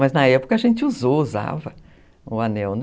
Mas na época a gente usou, usava o anel, né?